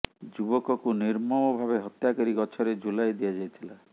ଯୁବକକୁ ନିର୍ମମ ଭାବେ ହତ୍ୟା କରି ଗଛରେ ଝୁଲାଇ ଦିଆଯାଇଥିଲା